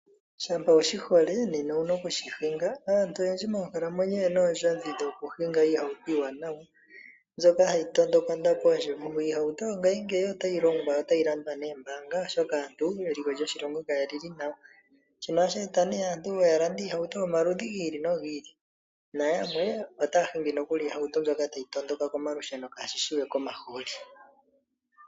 Shampa wu shi hole nena ou na okushi hinga. Aantu oyendji moonkalamwenyo oye na oondjodhi dhokuhinga iihauto iiwanawa mbyoka hayi tondoka ondapo yoshivugu. Iihauto yongaashingeyi otayi longwa notayi landwa noombaanga, oshoka eliko lyoshilongo kali li nawa, Shino ohashi e ta aantu ya lande iihauto yomaludhi gi ili nogi ili nayamwe otaya hingi nokuli iihauto mbyoka tayi tondoka komalusheno kaashi shi we komahooli.